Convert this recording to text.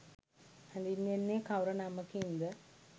හැඳින්වෙන්නේ කවර නමකින් ද?